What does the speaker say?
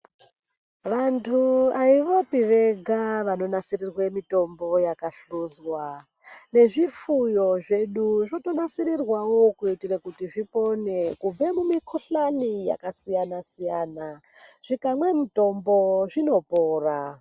Vantu haivopi vega vanonasirirwe mitombo yakahluzwa. Nezvifuyo zvedu zvotonasirwawo kuitire kuti zvipone kubve mumikuhlani yakasiyana-siyana. Zvikamwe mutombo zvinopona.